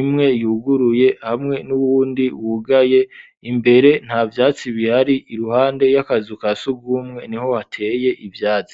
imwe yuguruye hamwe n'uwundi wugaye imbere ntavyatsi bihari iruhande y'akazu ka sugumwe niho hateye ivyatsi